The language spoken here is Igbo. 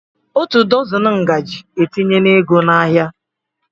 Otu dọzini ngaji etinyela ego n'ahịa